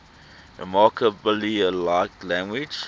remarkably like language